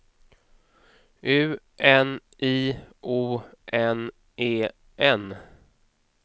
U N I O N E N